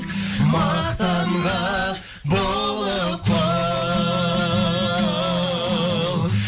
мақтанға болып құл